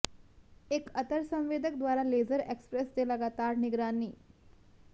ਇੱਕ ਅਤਰ ਸੰਵੇਦਕ ਦੁਆਰਾ ਲੇਜ਼ਰ ਐਕਸਪ੍ਰੈਸ ਦੇ ਲਗਾਤਾਰ ਨਿਗਰਾਨੀ